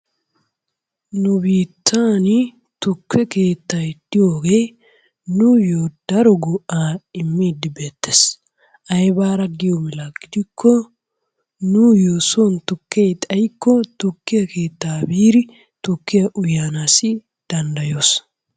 Nu biittaani tukke keettay diyogee nuuyyo daro go'aa immiidi beetees. Aybaara giyo mala gidikko nuuyyo soni tukkee xayikko tukke keettaa biidi tukkiya uyanaassi danddayoos.